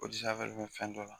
b'o fɛn dɔ la